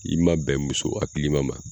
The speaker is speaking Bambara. I man bɛn muso hakilima ma.